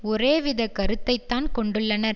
ஒரேவித கருத்தைத்தான் கொண்டுள்ளனர்